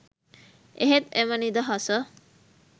එහෙත් එම නිදහස